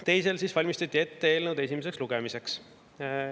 Teisel valmistati ette eelnõu esimeseks lugemiseks.